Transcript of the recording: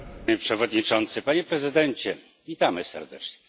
Panie Przewodniczący! Panie Prezydencie! Witamy serdecznie.